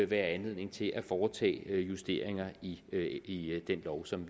være anledning til at foretage justeringer i i den lov som